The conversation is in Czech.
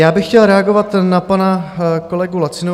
Já bych chtěl reagovat na pana kolegu Lacinu.